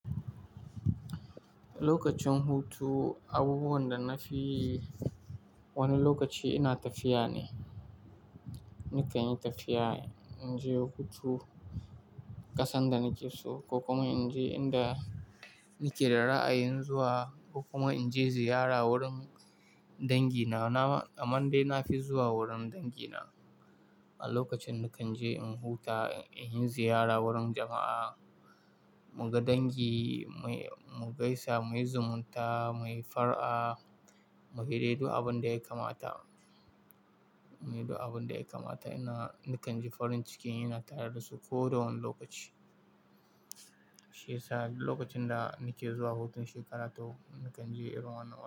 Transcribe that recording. Lokacin hutu, abubuwan da na fi wani lokaci ina tafiya ne. Nikan yi tafiya, in je hutu kasan da nake so ko kuma in je inda nake da ra'ayin zuwa ko kuma in je ziyara wurin dangi na. Na, a man dai na fi zuwa wurin dangi na. A lokacin da kan je in huta, in yi ziyara wurin jama'a, muga dangi, mu gaisa, muyi zumunta, muyi fara'a, mu haɗu da abin da ya kamata, mu haɗu da abin da ya kamata. Ina, nakan ji farin ciki ina tare da su ko da wane lokaci. Shi ya sa lokacin da nake zuwa hutun shekara ta uku, nakan je Irwan a waje.